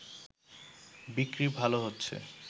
বিক্রি ভালো হচ্ছে